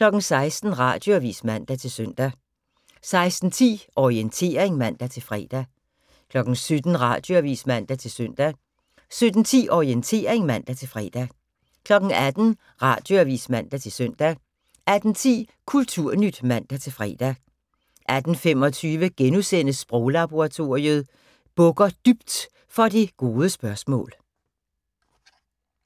16:00: Radioavis (man-søn) 16:10: Orientering (man-fre) 17:00: Radioavis (man-søn) 17:10: Orientering (man-fre) 18:00: Radioavis (man-søn) 18:10: Kulturnyt (man-fre) 18:25: Sproglaboratoriet: Bukker dybt for det gode spørgsmål *